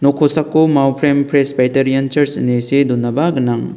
nok kosako maoprem presbaitarian charj ine see donaba gnang.